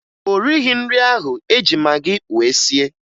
O righi nri ahụ e ji magị wee sie